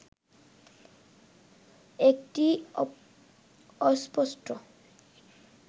একটি অস্পষ্ট